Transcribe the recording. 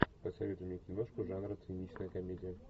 посоветуй мне киношку жанра циничная комедия